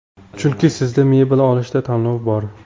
Chunki sizda mebel olishda tanlov bor.